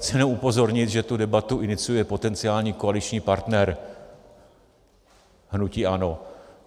Chci jenom upozornit, že tu debatu iniciuje potenciální koaliční partner hnutí ANO.